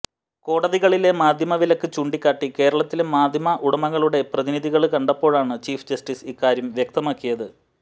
കോടതികളിലെ മാധ്യമവിലക്ക് ചൂണ്ടിക്കാട്ടി കേരളത്തിലെ മാധ്യമ ഉടമകളുടെ പ്രതിനിധികള് കണ്ടപ്പോഴാണ് ചീഫ് ജസ്റ്റിസ് ഇക്കാര്യം വ്യക്തമാക്കിയത്